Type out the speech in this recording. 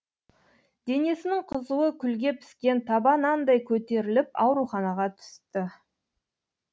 денесінің қызуы күлге піскен таба нандай көтеріліп ауруханаға түсті